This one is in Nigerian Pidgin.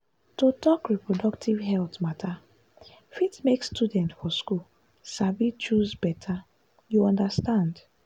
to talk reproductive health matter fit make students for school sabi choose better you understand like.